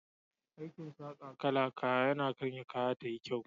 Aikin saka kala a kaya yakan sa kaya tayi kyau.